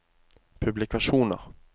publikasjoner